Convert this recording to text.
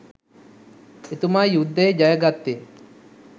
එතුමා යුද්ධය ජය ගත්තේ